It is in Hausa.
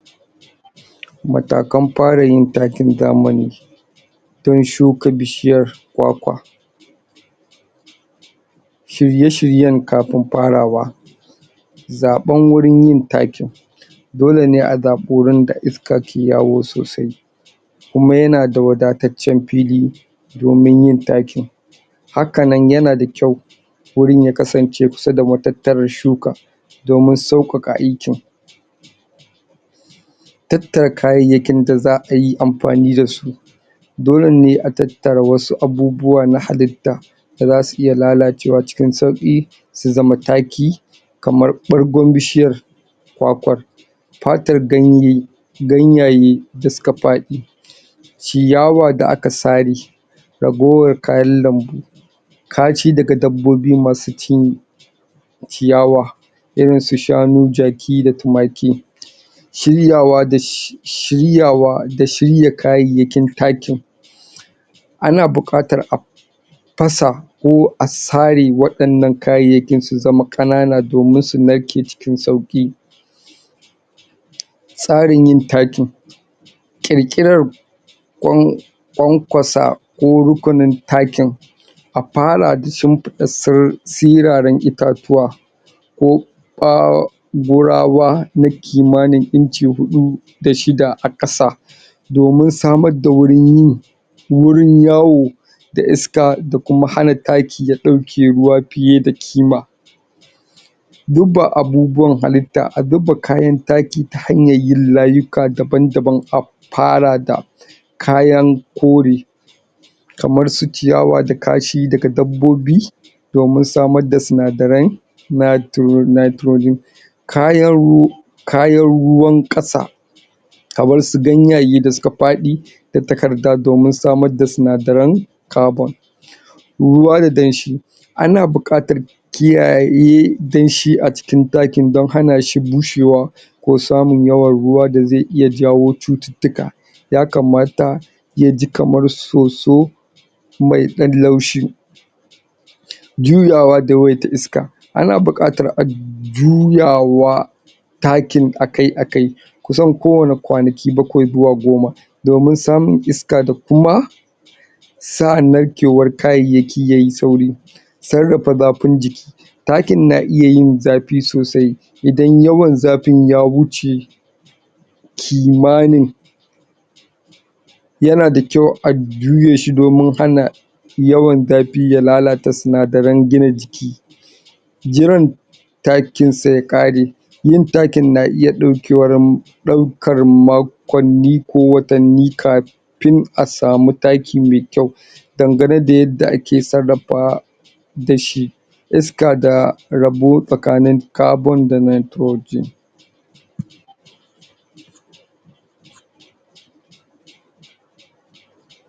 matakan fara yin takin zamani don shuka bishiyar kwa kwa shirye shiryen kafin fara wa zaben gurin yin takin dole neh a zabi wurin da iska ke yawo sosai kuma yana da wadatacen fili domin yin takin hakanan yana da kyau wurin ya kasan ce kusa da matataran shuka domin saukaka aikin tatara kaya yakin da za'ayi amfani da su dole neha a tatara wasu abubuwa na halita da zasu iya lalacewa cikin sauki su zama taki kamar ɓargon bishiyan kwakwar fatar ganye ganyaye da suka fadi ciyawad da aka sare ragowan kayan lambu kashi daga dabobi masu cin ciyawa irin su shanu jaki da tumaki shiryawa da shiryawa da shiraya kayayakin takin ana bukatar a fasa ko a sare wadanan kayayakin su zama kanana domin su narke cikin sauki tsarin yin takin qirqiran kwan kwasa ko rukunin takin afara da shimfida siraren ita tuwa ko ɓa gurawa na kimani inci hudu da shida a kasa domin samar da wurin yin wurin yawo da iska da kuma hana taki ya dauke ruwa fiye da kima duk ba abubuwan halita a zuma kayan taki ta hanyan yin layuka daba daban afara da kayan kore kaman su ciyawa da kashi daga dabobi domin samar da sunadaren nitrogen kayan ruwa kayan ruwan kasa kamar su ganyaye da suka fadi da takarda domin samar da sunadaren kabon ruwa da danshi ana bukatar kiyaye danshi acikin dakin a dan hana shi bushe wa ko samun yawa ruwa da zai iya jawo cututuka yakamata yaji kamar soso mai dan laushi juyawa da wayar ta iska ana bukatar ajuya wa takin akai akai kusan ko wani kwanaki bakwai zuwa goma domin samun iska da kuma sa'ar narkewar kayayaki yayi sauri sarafa zafin jiki takin na iya yin zafi soosai idan yawan zafin ya wuce kimanin yana da kyau a juye shi domin hana yawan zafin ya lalatar sunadaren gina jiki jiran takinsa ya kare yin takin na iya daukewar makwani ko watani kafin asamu taki me kyau dangane da yarda ake sarafa da shi iska da rabo tsakanin karbon da nitrogen